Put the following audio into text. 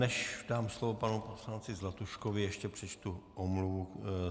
Než dám slovo panu poslanci Zlatuškovi, ještě přečtu omluvu.